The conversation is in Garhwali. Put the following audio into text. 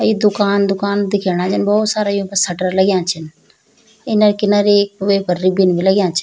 ये दुकान दुकान दिख्येणा जन भौत सारा युंका सटर लग्यां छिन किनर किनर एक वेपर रिबिन भी लग्यां छि।